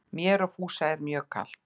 Mér og Fúsa mjög er kalt